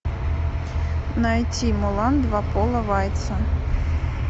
найти мулан два пола вайца